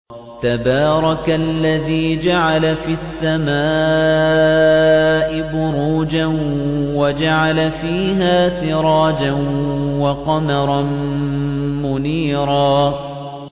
تَبَارَكَ الَّذِي جَعَلَ فِي السَّمَاءِ بُرُوجًا وَجَعَلَ فِيهَا سِرَاجًا وَقَمَرًا مُّنِيرًا